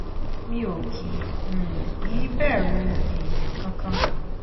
mi ò kì um í bẹ̀rù èèyàn kankan